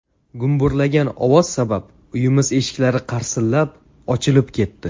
Gumburlagan ovoz sabab uyimiz eshiklari qarsillab, ochilib ketdi.